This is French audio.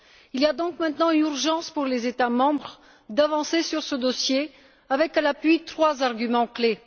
Il y a donc maintenant urgence pour les États membres d'avancer sur ce dossier avec à l'appui trois arguments clés.